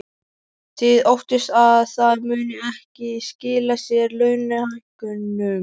Þið óttist að það muni ekki skila sér í launahækkunum?